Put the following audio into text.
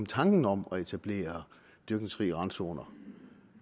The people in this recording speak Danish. tanken om at etablere dyrkningsfrie randzoner